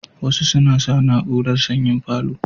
Wasu suna sa na urar sanyi a falo